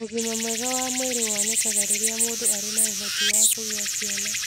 Ũgima mwega wa mwĩrĩ wonekaga rĩrĩa mũndũ arĩ na ũhoti wa kũgĩa ciana.